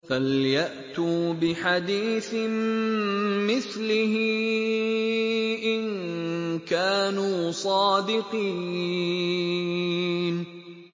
فَلْيَأْتُوا بِحَدِيثٍ مِّثْلِهِ إِن كَانُوا صَادِقِينَ